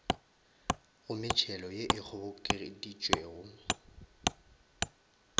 go metšhelo ye e kgobokeditšwego